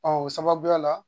o sababuya la